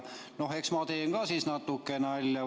No eks ma teen ka natuke siis nalja.